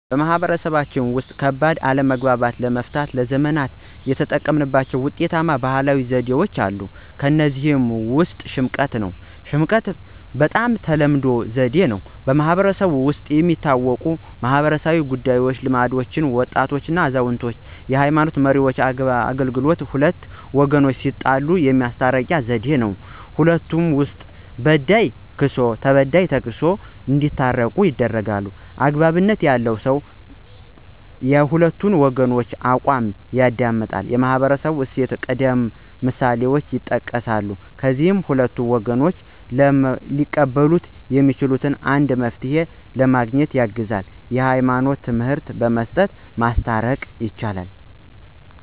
ማህበረሰቦች ውስጥ፣ ከባድ አለመግባባቶችን ለመፍታት ለዘመናት የተጠቀሙባቸው ውጤታማ ባህላዊ ዘዴዎች አሉ። እነዚህ ዘዴዎች የፍርድ ቤትን ስርዓት ሳይጠቀሙ ማህበራዊ ሰላምና ልማትን እንዲያስከትሉ ይርዳሉ። ሽምቀታ (፦ ይህ በጣም ተለመደው ዘዴ ነው። በማህበረሰቡ ውስጥ የሚታወቁና በማኅበራዊ ጉዳዮች ልምድ ያላቸው (በወጣቶች፣ አዛውንቶች፣ የሃይማኖት መሪዎች) አገልግሎቱ ሁለቱም ወገኖች እስኪናገሩና ስሜታቸውን እስኪገልጹ ድረስ ይሰማሉ፣ አሰምተው ማስታረቅ ማስታረቅ ይሞክራሉ። ለተበዳይ ተክስሶ ለበዳይ ተክሶ ይታረቃሉ። ወግ (የፍትህ አደረጃጀት)፦ )" አግባብነት ያለው ሰው የሁለቱን ወገኖች አቋም ይደመጣል፣ የማህበራዊ እሴቶችንና ቀደምት ምሳሌዎችን ይጠቅሳል፣ ከዚያም ሁለቱም ወገኖች ሊቀበሉት የሚችሉትን አንድ መፍትሄ ለማግኘት ያግዛል። የህይማኖት ትምህርት በመስጠት ማስታረቅ። ይቻላል